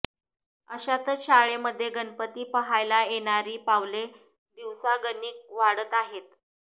अशातच शाळेमध्ये गणपती पाहायला येणारी पावले दिवसागणिक वाढत आहेत